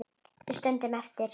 Við stöndum eftir.